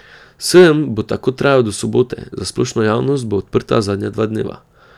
Sejem bo tako trajal do sobote, za splošno javnost bo odprt zadnja dva dneva.